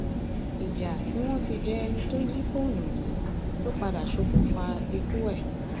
ìyà tí wọn fi jẹ ẹni tó jí jí fóònù yìí ló padà ṣokùnfà ikú ẹ